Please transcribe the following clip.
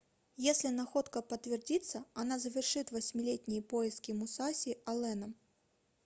если находка подтвердится она завершит восьмилетние поиски мусаси алленом